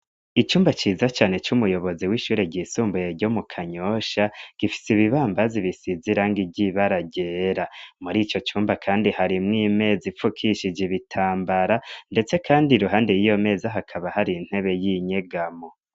Icumba ciza cane c'umuyobozi w'ishure ryisumbuye ryo mu Kanyosha, gifise bibambazi bisize irangi ry'ibara ryera, muri ico cumba kandi harimwo imeza ipfukishije ibitambara ndetse, kandi iruhande y'iyo meza hakaba hari intebe y'inyegamo.